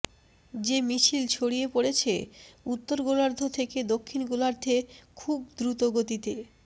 যে মিছিল ছড়িয়ে পড়ছে উত্তর গোলার্ধ থেকে দক্ষিণ গোলার্ধে খুব দ্রুত গতিতে